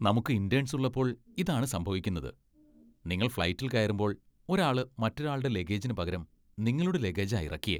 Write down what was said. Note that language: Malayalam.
നമുക്ക് ഇന്റേണ്സ് ഉള്ളപ്പോൾ ഇതാണ് സംഭവിക്കുന്നത്. നിങ്ങൾ ഫ്ലൈറ്റിൽ കയറുമ്പോൾ ഒരാള് മറ്റൊരാളുടെ ലഗേജിന് പകരം നിങ്ങളുടെ ലഗേജാ ഇറക്കിയേ.